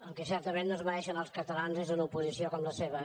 el que certament no es mereixen els catalans és una oposició com la seva